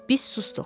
Biz susduq.